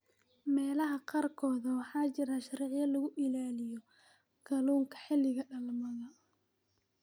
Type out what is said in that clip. Meelaha qaarkood, waxaa jira sharciyo lagu ilaaliyo kalluunka xilliga dhalmada.